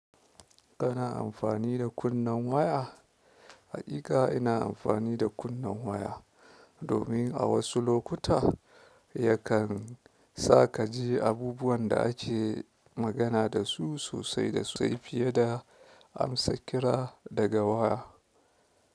Kana amfani da kunnen waya? Haƙiƙa ina amfani da kunnen waya domin a wasu lokuta yakan sa ka ji abubuwan da ake magana dasu sosai da sosai fiye da amsa kira daga waya.